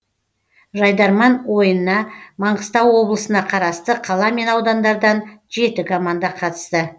жайдарман ойына маңғыстау облысына қарасты қала мен аудандардан жеті команда қатысты